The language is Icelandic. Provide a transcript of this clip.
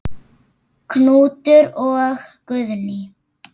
Knútur og Guðný.